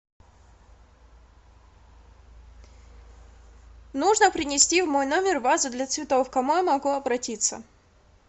нужно принести в мой номер вазу для цветов к кому я могу обратиться